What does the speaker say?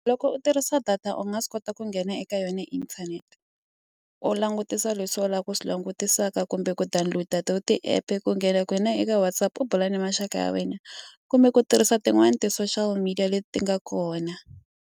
Loko u tirhisa data u nga swi kota ku nghena eka yona inthanete u langutisa leswi u lavaka ku swi langutisaka kumbe ku download to ti-app ku nghena ka kona eka WhatsApp u bula na maxaka ya wena kumbe ku tirhisa tin'wani ti-social media leti nga kona.